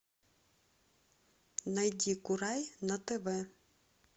найди курай на тв